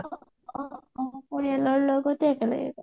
অ অ অ অ পৰিয়ালৰ লগতে একেলগে গৈছো